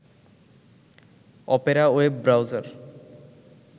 Opera web browser